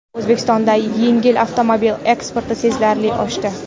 O‘zbekistonda yengil avtomobil eksporti sezilarli oshdi.